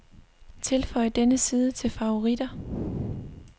Tilføj denne side til favoritter.